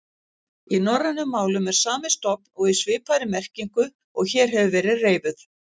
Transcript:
Í norrænum málum er sami stofn og í svipaðri merkingu og hér hefur verið reifuð.